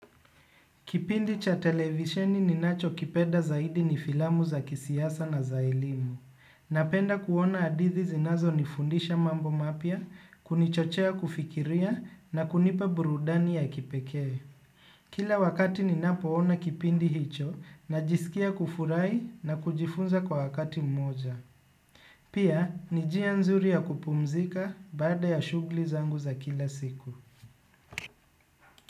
Kipindi cha televisioni ninacho kipenda zaidi ni filamu za kisiasa na za elimu. Napenda kuona hadithi zinazonifundisha mambo mapya, kunichochea kufikiria na kunipa burudani ya kipekee. Kila wakati ninapoona kipindi hicho najisikia kufurahi na kujifunza kwa wakati mmoja. Pia, ni njia nzuri ya kupumzika baada ya shughuli zangu za kila siku.